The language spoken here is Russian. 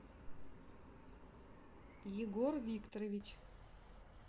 егор викторович